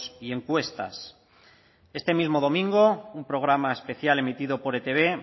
y encuestas este mismo domingo un programa especial emitido por etb